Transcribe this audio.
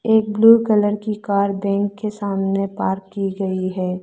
एक blue colour की car bank के सामने पार्क की गई है।